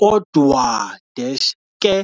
Kodwa-ke,